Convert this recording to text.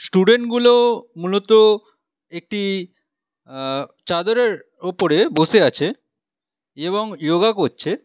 স্টুডেন্টগুলি মূলত একটি অ্যা চাদরের ওপর বসে আছে এবং ইয়োগা করছে।